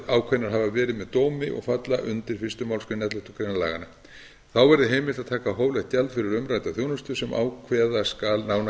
hafa verið með dómi og falla undir fyrstu málsgrein elleftu grein laganna þá verði heimilt að taka hóflegt gjald fyrir umrædda þjónustu sem ákveða skal nánar